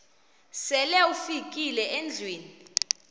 sele ufikile endlwini